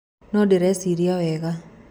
No ndĩreciria wega.